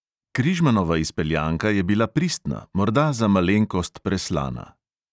Križmanova izpeljanka je bila pristna, morda za malenkost preslana.